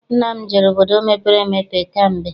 Nna m jere obodo mepere emepe kamgbe.